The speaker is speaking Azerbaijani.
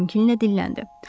Kral təmkinlə dilləndi: